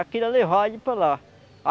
Queria levar ele para lá.